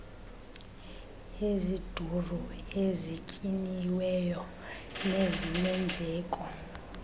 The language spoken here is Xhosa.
eziduru ezinyiniweyo nezinendleko